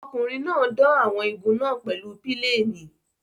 Ọkùnrin náà dán àwọn igun náà pèlú pílénì.